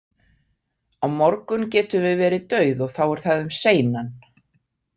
Á morgun getum við verið dauð og þá er það um seinan.